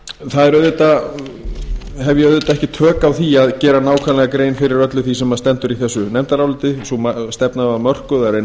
auðvitað hef ég ekki tök á því að gera nákvæmlega grein fyrir öllu því sem stendur í þessu nefndaráliti sú stefna var mörkuð að reyna